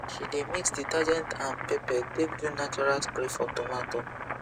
she dey mix detergent and pepper take do natural spray for tomato